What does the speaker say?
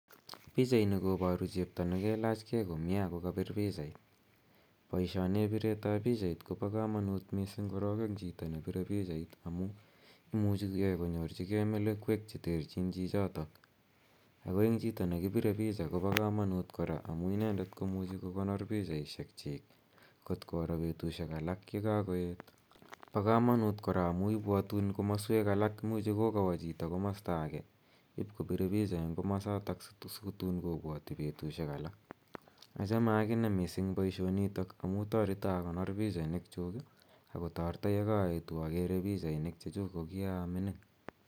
Pichaini koparu chepto ne kelachgei komye ak kopire pichait. Poishonep piret ap pichait ko pa kamanut missing' korok eng' chito ne pire pichait amu imuchi konyorchigei melekwek che terchin chichotok. Ako eng' chito ne kipire picha ko pa kamanut amu inendet ko mucjmhi kokonoe pichaishekchik kot koro petushek alak ye kakoet. Pa kamanut kora amu ipwatun komaswek alak. Imuchi kokawa chito komasta age ip kopir picha eng' komasatak si tun ip kopwati petushek alak. Achame akine missing' poishonitok amu tareta akonor pichainikchuk ako tareta ye kaaetu akere pichainik che chuk ko a mining'.